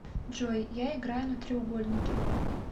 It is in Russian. джой я играю на треугольнике